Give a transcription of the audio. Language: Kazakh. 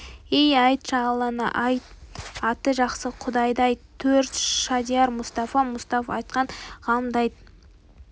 ей айтшы алланы айт аты жақсы құдайды айт төрт шадияр мұстафа мұсқап ашқан ғаламды айт